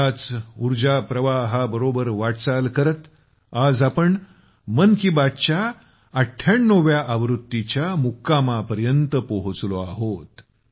त्याच उर्जाप्रवाहाबरोबर वाटचाल करत आज आम्ही मन की बातच्या 98 व्या आवृत्तीच्या मुक्कामापर्यंत पोहचलो आहोत